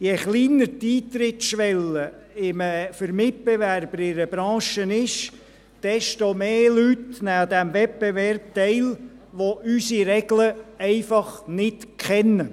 Je kleiner die Eintrittsschwelle für Mitbewerber in einer Branche ist, desto mehr Leute nehmen an diesem Wettbewerb teil, die unsere Regeln einfach nicht kennen.